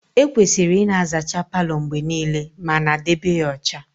Ekwesịrị ịna azacha Palo mgbe niile ma na debe ya ọcha